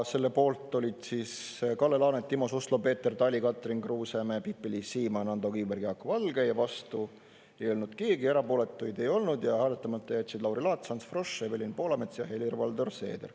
Selle poolt olid Kalle Laanet, Timo Suslov, Peeter Tali, Katrin Kuusemäe, Pipi-Liis Siemann, Ando Kiviberg, Jaak Valge, vastu ei olnud keegi ja erapooletuid ei olnud ja hääletamata jätsid Lauri Laats, Ants Frosch, Evelin Poolamets ja Helir-Valdor Seeder.